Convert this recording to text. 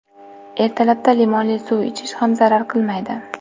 Ertalabda limonli suv ichish ham zarar qilmaydi.